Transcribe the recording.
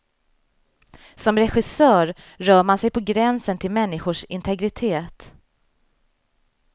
Som regissör rör man sig på gränsen till människors integritet.